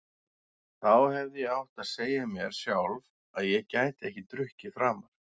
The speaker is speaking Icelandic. Þá hefði ég átt að segja mér sjálf að ég gæti ekki drukkið framar.